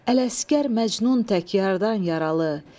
Ələsgər Məcnun tək yardan yaralı.